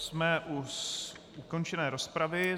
Jsme u ukončené rozpravy.